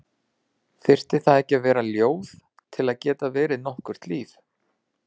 Þyrfti það ekki að vera ljóð til að geta verið nokkurt líf?